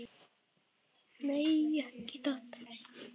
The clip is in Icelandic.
Nei, ekki það!